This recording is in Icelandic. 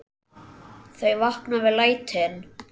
Þau vakna við lætin.